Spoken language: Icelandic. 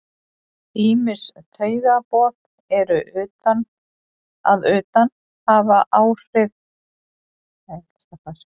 Ýmis taugaboð að utan hafa áhrif á starfsemi meltingarfæranna.